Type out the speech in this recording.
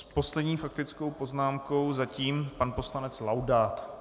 S poslední faktickou poznámkou - zatím - pan poslanec Laudát.